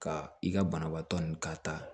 Ka i ka banabaatɔ nu ka taa